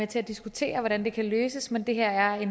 til at diskutere hvordan det kan løses men det her er